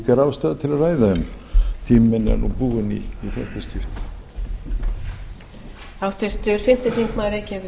er ástæða til að ræða en tími minn er nú búinn í þetta skipti